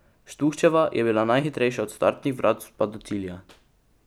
Štuhčeva je bila najhitrejša od startnih vratc pa do cilja.